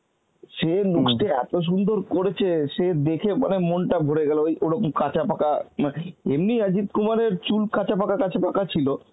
সে looks টা এত সুন্দর করেছে সে দেখে মানে মনটা ভরে গেল ওই ওরকম কাঁচা পাকা মা~ এমনি অজিত কুমারের চুল কাঁচা পাকা কাঁচা পাকা ছিল